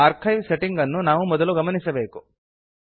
archive setting ಅನ್ನು ನಾವು ಮೊದಲು ಗಮನಿಸಬೇಕು